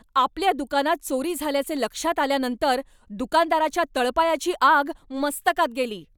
आपल्या दुकानात चोरी झाल्याचे लक्षात आल्यानंतर दुकानदाराच्या तळपायाची आग मस्तकात गेली.